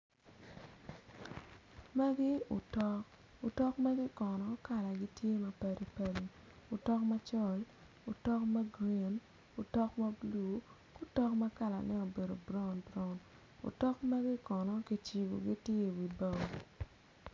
Magi otok, otok magi kono kalagi tye ma padi padi otok macol otok ma gurin otok ma blu ki otok ma kalane obedo brown brown otok magi kono kicibogi tye iwi bao.